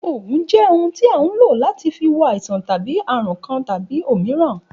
Ògùn jẹ́ ohun tí a hun ló láti fi wo àisan tàbi àrun Kan tàbi òmíràn.